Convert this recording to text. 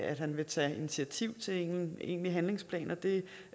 at han vil tage initiativ til en egentlig handlingsplan og det